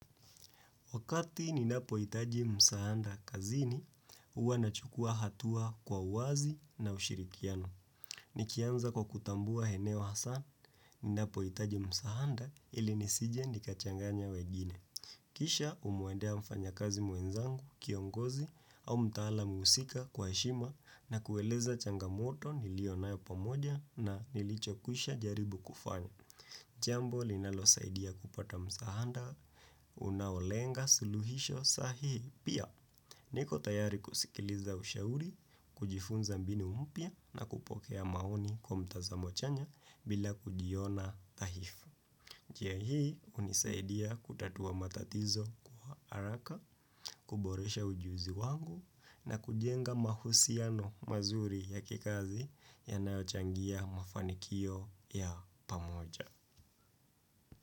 Wakati ninapohitaji msaada kazini, huwa nachukua hatua kwa uwazi na ushirikiano. Nikianza kwa kutambua eneo hasa, ninapohitaji msaada ili nisije nikachanganya wengine. Kisha humwendea mfanyakazi mwenzangu, kiongozi au mtaalam husika kwa heshima na kueleza changamoto niliyonayo pamoja na nilichokwisha jaribu kufanya. Jambo linalosaidia kupata msaada, unaolenga suluhisho sahihi pia. Niko tayari kusikiliza ushauri, kujifunza mbinu mpya na kupokea maoni kwa mtazamo chanya bila kujiona dhahifu. Njia hii hunisaidia kutatua matatizo kwa haraka, kuboresha ujuzi wangu na kujenga mahusiano mazuri ya kikazi yanaochangia mafanikio ya pamoja.